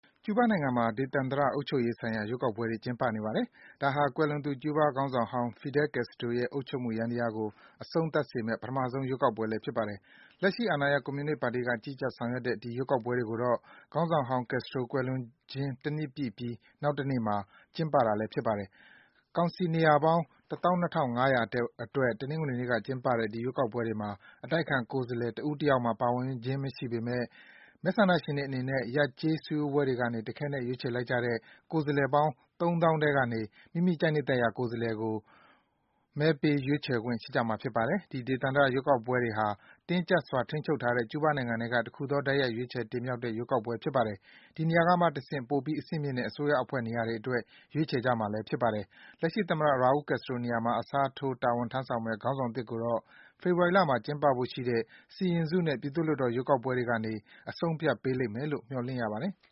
ကျူးဘားနိုင်ငံမှာ ဒေသန္တရအုပ်ချုပ်ရေးဆိုင်ရာ ရွေးကောက်ပွဲတွေ ကျင်းပနေပါတယ်။ ဒါဟာ ကွယ်လွန်သူ ကျူးဘားခေါင်းဆောင်ဟောင်း Fidel Castro ရဲ့ အုပ်ချုပ်မှု ယန္တရားကို အဆုံးသတ်စေမယ့် ပထမဆုံး ရွေးကောက်ပွဲလည်း ဖြစ်ပါတယ်။ လက်ရှိ အာဏာရ ကွန်မြူနစ်ပါတီက ကြီးကြပ် ဆောင်ရွက်တဲ့ ဒီရွေးကောက်ပွဲတွေကိုတော့ ခေါင်းဆောင်ဟောင်း Castro ကွယ်လွန်ခြင်း တနှစ်ပြည့်ပြီး နောက်တနေ့မှာ ကျင်းပတာလည်း ဖြစ်ပါတယ်။ ကောင်စီ နေရာပေါင်း ၁၂,၅၀၀ အတွက် တနင်္ဂနွေနေ့က ကျင်းပတဲ့ ဒီရွေးကောက်ပွဲတွေမှာ အတိုက်အခံ ကိုယ်စားလှယ် တဦးတယောက်မှ ပါဝင်ခြင်း မရှိပေမယ့် မဲဆန္ဒရှင်တွေအနေနဲ့ ရပ်/ကျေး စည်းဝေးပွဲတွေကနေ တခဲနက် ရွေးချယ်လိုက်ကြတဲ့ ကိုယ်စားလှယ်ပေါင်း ၃၀,၀၀၀ ထဲက မိမိ ကြိုက်နှစ်သက်ရာ ကိုယ်စားလှယ်ကို မေးပေး ရွေးချယ်ခွင့် ရကြမှာ ဖြစ်ပါတယ်။ ဒီ ဒေသန္တရ ရွေးကောက်ပွဲတွေဟာ တင်းကျပ်စွာ ထိန်းချုပ်ထားတဲ့ ကျူးဘားနိုင်ငံက တခုထဲသော တိုက်ရိုက် ရွေးချယ်တင်မြောက်တဲ့ ရွေးကောက်ပွဲဖြစ်ပါတယ်။ ဒီကနေမှ ပိုပြီး အဆင့်မြင့်တဲ့ အစိုးရအဖွဲ့ နေရာတွေအတွက် ရွေးချယ်ကြမှာ ဖြစ်ပါတယ်။ လက်ရှိသမ္မတ Raul Castro နေရာမှာ အစားထိုး တာဝန်ထမ်းဆောင့် ခေါင်းဆောင်သစ်ကိုတော့ ဖေဖော်ဝါရီလမှာ ကျင်းပဖို့ရှိတဲ့ စီရင်စုနဲ့ ပြည်သူ့လွှတ်တော် ရွေးကောက်ပွဲတွေကနေ အဆုံးအဖြတ်ပေးလိမ့်မယ်လို့ မျှော်လင့်ရပါတယ်။